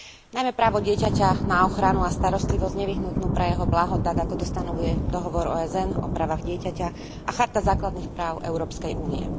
Najmä právo dieťaťa na ochranu a starostlivosť nevyhnutnú pre jeho blaho tak, ako to stanovuje Dohovor OSN o právach dieťaťa a Charta základných práv Európskej únie.